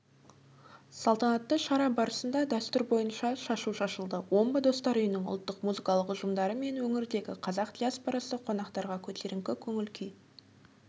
салтанатты шара барысында дәстүр бойынша шашу шашылды омбы достар үйінің ұлттық музыкалық ұжымдары мен өңірдегі қазақ диаспорасы қонақтарға көтеріңкі көңіл күй